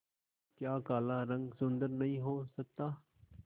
क्या काला रंग सुंदर नहीं हो सकता